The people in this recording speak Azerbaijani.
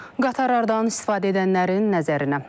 Qatarlardan istifadə edənlərin nəzərinə.